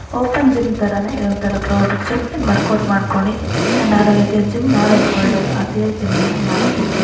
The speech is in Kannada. ಓಪನ್ ಜಿಮ್ ತರಾನೇ ಇದೊಂತರ ಕ್ಲೋಸ್ಡ್ ಜಿಮ್ . ಇಲ್ಲಿ ವರ್ಕೌಟ್ ಮಾಡ್ಕೊಳ್ಳಿ ಆರೋಗ್ಯಕ್ಕೆ ಜಿಮ್ ಮಾಡೋದು ಒಳ್ಳೆಯದು ಅಂತ ಅತಿಯಾಗಿ ಜಿಮ್ ಮಾಡೋಕೆ ಹೋಗ್ಬೇಡಿ.